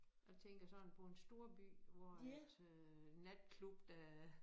Jeg tænker sådan på en storby hvor at øh natklub der